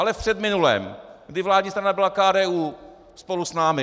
Ale v předminulém, kdy vládní strana byla KDU spolu s námi.